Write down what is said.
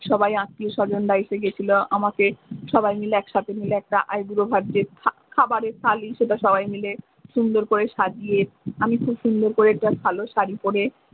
সবাই আত্মীয় সজনরা এসেগেছিলো আমাকে সবাই মিলে একসাথে মিলে একটা আইবুড়ো ভাত যে খাবারের থালি সেটা সবাই মিলে সুন্দর করে সাজিয়ে আমি খুব সুন্দর করে একটা ভালো শাড়ি পোরে।